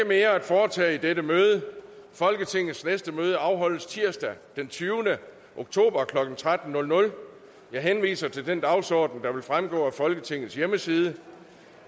mere at foretage i dette møde folketingets næste møde afholdes tirsdag den tyvende oktober og klokken tolv jeg henviser til den dagsorden der fremgår af folketingets hjemmeside